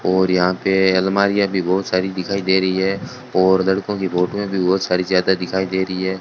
और यहां पे अलमारीयां भी बहोत सारी दिखाई दे रही है और लड़कों की फोटोए भी बहोत सारी ज्यादा दिखाई दे रही है।